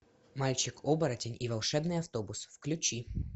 мальчик оборотень и волшебный автобус включи